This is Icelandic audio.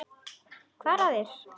Hvað er að þér?